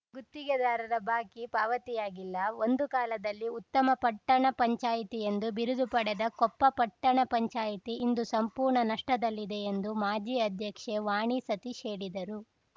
ಗುತ್ತಿಗೆದಾರರ ಬಾಕಿ ಪಾವತಿಯಾಗಿಲ್ಲ ಒಂದು ಕಾಲದಲ್ಲಿ ಉತ್ತಮ ಪಟ್ಟಣ ಪಂಚಾಯಿತಿ ಎಂದು ಬಿರುದು ಪಡೆದ ಕೊಪ್ಪ ಪಟ್ಟಣ ಪಂಚಾಯಿತಿ ಇಂದು ಸಂಪೂರ್ಣ ನಷ್ಟದಲ್ಲಿದೆ ಎಂದು ಮಾಜಿ ಅಧ್ಯಕ್ಷೆ ವಾಣಿ ಸತೀಶ್‌ ಹೇಳಿದರು